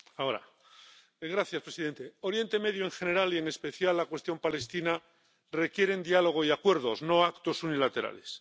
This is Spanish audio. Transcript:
Señor presidente, Oriente Próximo en general y, en especial, la cuestión palestina requieren diálogo y acuerdos, no actos unilaterales.